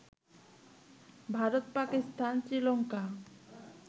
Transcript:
Bharat, Pakistan, Sri Lanka